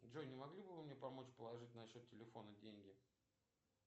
джой не могли бы вы мне помочь положить на счет телефона деньги